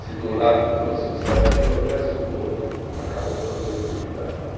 Se de um lado trouxe um certo progresso, do outro acabou com a tranquilidade né.